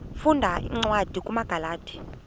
funda cwadi kumagalati